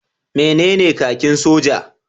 Menene kakin soja?